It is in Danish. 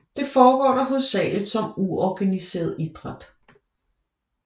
Det forgår dog hovedsageligt som uorganiseret idræt